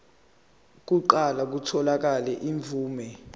kuqale kutholakale imvume